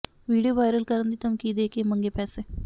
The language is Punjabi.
ਵੀਡੀਓ ਵਾਇਰਲ ਕਰਨ ਦੀ ਧਮਕੀ ਦੇ ਕੇ ਮੰਗੇ ਪੈਸੇ